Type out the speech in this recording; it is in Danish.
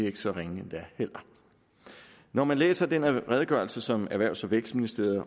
ikke så ringe endda når man læser den redegørelse som erhvervs og vækstministeriet